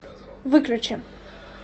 выключи